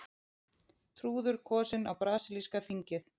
Trúður kosinn á brasilíska þingið